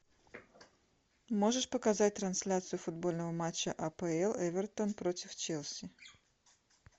можешь показать трансляцию футбольного матча апл эвертон против челси